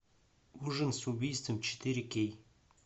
ужин с убийством четыре кей